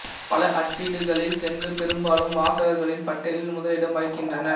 பல அச்சிட்டுகளில் சென்று பெரும்பாலும் வாசகர்களின் பட்டியலில் முதலிடம் வகிக்கின்றன